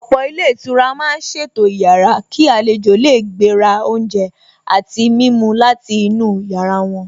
Ọ̀pọ̀ ilé ìtura màá ṣètò ìyára kí àlejò lè gbé ra oúnjẹ àti mímu láti inú yàrá wọn.